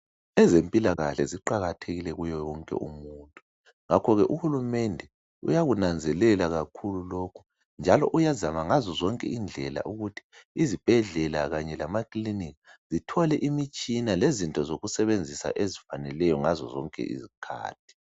Ezempilakahle uqakathekile kuwo wonke umuntu ngakho ke uhulumende uyakunanzelela kakhulu lokhu njalo uyazana ngazonke indlela ukuthi izibhedlela kanye lamaclinikhi zithole imitshina lezinto zokusebenzisa ngazo zonke izikhathi